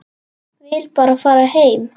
Vill bara fara heim.